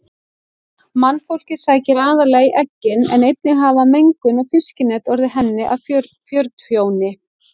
Mannfólkið sækir aðallega í eggin en einnig hafa mengun og fiskinet orðið henni að fjörtjóni.